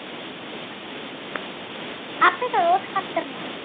আপনি তো রোজ খাচ্ছেন না।